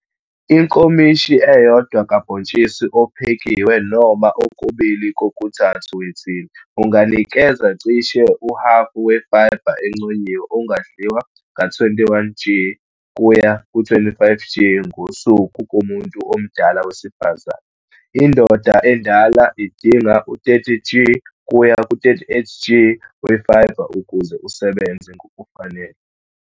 Inkomishi eyodwa kabhontshisi ophekiwe noma okubili kokuthathu wethini unganikeza cishe uhhafu we-fibre enconyiwe ongadliwa ka-21 g kuya ku-25 g ngosuku kumuntu omdala wesifazane. Indoda endala idinga u-30 g kuya ku-38 g we-fibre ukuze usebenze ngokufanele.